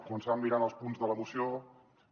començàvem mirant els punts de la moció i